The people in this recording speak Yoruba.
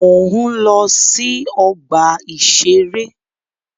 Mò ń lọ sí ọgbà-ìṣeré